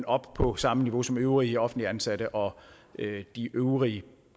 op på samme niveau som øvrige offentligt ansatte og øvrige